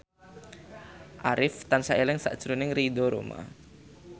Arif tansah eling sakjroning Ridho Roma